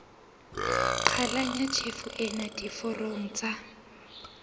qhalanya tjhefo ena diforong tsa